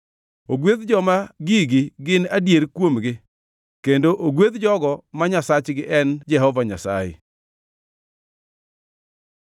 Ogwedh joma gigi gin adier kuomgi; kendo ogwedh jogo ma Nyasachgi en Jehova Nyasaye.